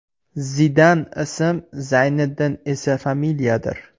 Zidan ism, Zayniddin esa familiyadir.